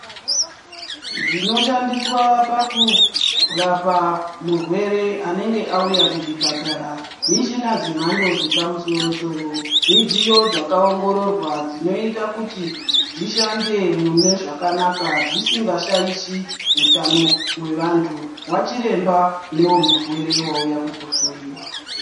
Zvinoshandiswa pakurapa murwere anenge awuya kuchipatara, michina dzemhando dzepamsoro soro. Midziyo dzakawongororwa dzinoita kuti dzishandemo zvakanaka dzisingashayishi hutano hwevantu.,wachiremba newemurwere wauya kuzohloyiwa.